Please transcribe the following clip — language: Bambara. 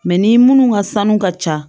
Mɛ ni minnu ka sanu ka ca